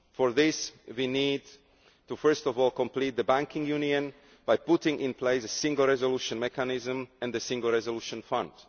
For this, we need to first of all complete the banking union by putting in place a single resolution mechanism and the Single Resolution Fund.